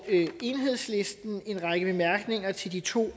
enhedslisten en række bemærkninger til de to